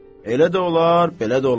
Elə də olar, belə də olar.